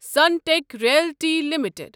Sunteck realty limited